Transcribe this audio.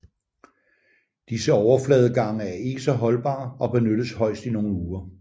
Disse overfladegange er ikke så holdbare og benyttes højst i nogle uger